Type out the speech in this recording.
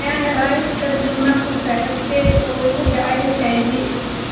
Diane Reeves: Kadib markii saaxiibkay uu igu qaaday HIV